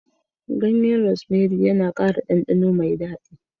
Ganyen Rosemary yana ƙara ɗanɗano mai daɗi